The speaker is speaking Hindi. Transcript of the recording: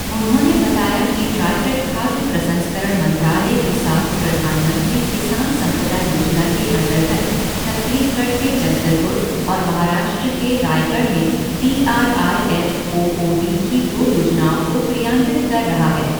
उन्होंने बताया कि ट्राइफेड खाद्य प्रसंस्करण मंत्रालय के साथ प्रधानमंत्री किसान सम्पदा योजना के अंतर्गत छत्तीसगढ़ के जगदलपुर और महाराष्ट्र के रायगढ़ में T R I F O O D की दो योजनाओं को क्रियान्वित कर रहा है।